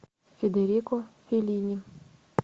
федерико феллини